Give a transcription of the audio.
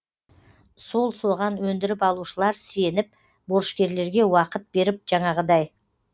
сол соған өндіріп алушылар сеніп борышкерлерге уақыт беріп жаңағыдай